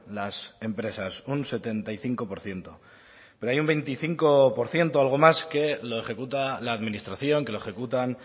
las empresas un setenta y cinco por ciento pero hay un veinticinco por ciento algo más que lo ejecuta la administración que lo ejecutan